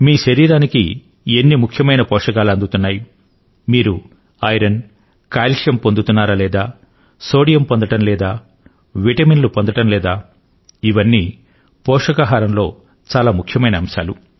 మీ శరీరానికి ఎన్ని ముఖ్యమైన పోషకాలు అందుతున్నాయి మీరు ఐరన్ కాల్షియం పొందుతున్నారా లేదా సోడియం పొందడం లేదా విటమిన్లు పొందడం లేదా ఇవన్నీ పోషకాహారం లో చాలా ముఖ్యమైన అంశాలు